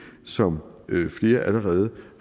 som flere allerede